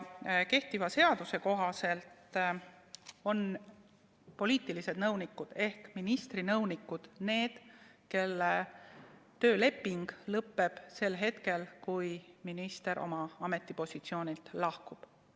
Kehtiva seaduse kohaselt on poliitilised nõunikud ehk ministri nõunikud need, kelle tööleping lõpeb sel hetkel, kui minister oma ametipositsioonilt lahkub.